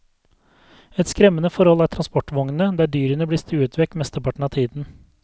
Et skremmende forhold er transportvognene, der dyrene blir stuet vekk mesteparten av tiden.